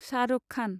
Shah Rukh Khan